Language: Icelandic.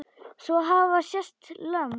Svo hafa sést lömb.